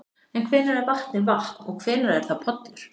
En hvenær er vatnið vatn og hvenær er það pollur?